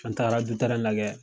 An taara du lajɛ